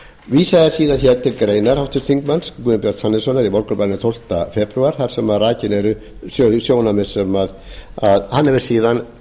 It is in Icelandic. vísað er síðan til greinar háttvirtur þingmaður guðbjarts hannessonar í morgunblaðinu tólfta febrúar þar sem rakin eru þau sjónarmið sem hann hefur síðan